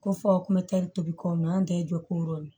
Ko fɔ kun bɛ kɛ tobi kɔmi an tɛ jɔ ko yɔrɔ ye